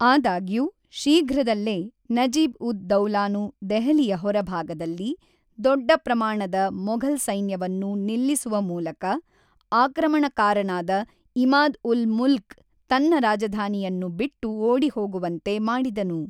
ಆದಾಗ್ಯೂ, ಶೀಘ್ರದಲ್ಲೇ, ನಜೀಬ್-ಉದ್-ದೌಲಾನು ದೆಹಲಿಯ ಹೊರಭಾಗದಲ್ಲಿ ದೊಡ್ಡ ಪ್ರಮಾಣದ ಮೊಘಲ್‌ ಸೈನ್ಯವನ್ನು ನಿಲ್ಲಿಸುವ ಮೂಲಕ ಆಕ್ರಮಣಕಾರನಾದ ಇಮಾದ್-ಉಲ್-ಮುಲ್ಕ್ ತನ್ನ ರಾಜಧಾನಿಯನ್ನು ಬಿಟ್ಟು ಓಡಿಹೋಗುವಂತೆ ಮಾಡಿದನು.